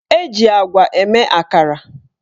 Eji agwa eme akara.